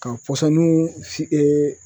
Ka pɔsɔninw si